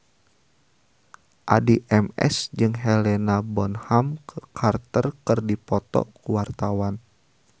Addie MS jeung Helena Bonham Carter keur dipoto ku wartawan